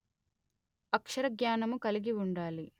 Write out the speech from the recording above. అక్షరజ్ఞానము కలిగి ఉండాలి